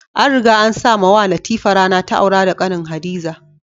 An riga an sa mawa Latifa rana ta aura da kanin Hadiza.